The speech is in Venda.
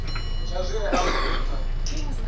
tsha zwi re afho nṱha